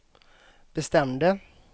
bestämde